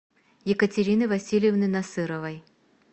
екатерины васильевны насыровой